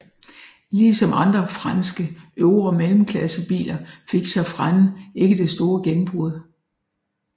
Ligesom andre franske øvre mellemklassebiler fik Safrane ikke det store gennembrud